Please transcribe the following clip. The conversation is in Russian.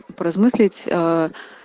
поразмыслить аа